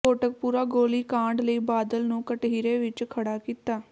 ਕੋਟਕਪੂਰਾ ਗੋਲੀ ਕਾਂਡ ਲਈ ਬਾਦਲ ਨੂੰ ਕਟਹਿਰੇ ਵਿੱਚ ਖੜ੍ਹਾ ਕੀਤਾ